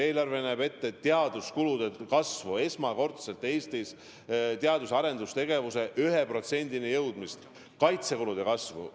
Eelarve näeb ette teaduskulude kasvu – esmakordselt Eestis –, teadus- ja arendustegevuse rahastuse jõudmist 1%-ni SKP-st, samuti kaitsekulude kasvu.